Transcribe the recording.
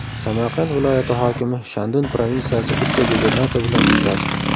Samarqand viloyati hokimi Shandun provinsiyasi vitse-gubernatori bilan uchrashdi.